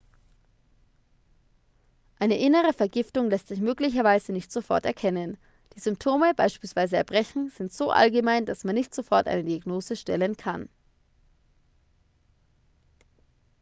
eine innere vergiftung lässt sich möglicherweise nicht sofort erkennen die symptome beispielsweise erbrechen sind so allgemein dass man nicht sofort eine diagnose stellen kann